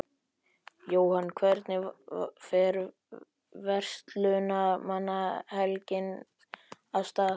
Jóhann, hvernig fer Verslunarmannahelgin af stað?